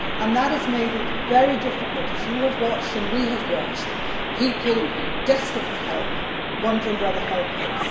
That has made it very difficult, as you have watched and we have watched people desperate for help, wondering where the help is.